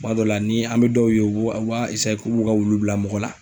Tuma dɔw la , ni an bɛ dɔw ye, u b'u u b'a k'u b'u ka wulu bila mɔgɔ la.